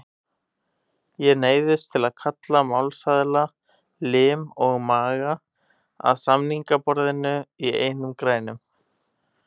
Ég neyðist til að kalla málsaðila, lim og maga, að samningaborðinu í einum grænum.